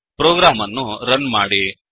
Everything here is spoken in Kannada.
ಪ್ರೋಗ್ರಾಮ್ ಅನ್ನು ರನ್ ಮಾಡಿ